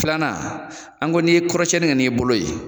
Filanan an ko n'i ye kɔrɔsiɲɛni kɛ n'i bolo ye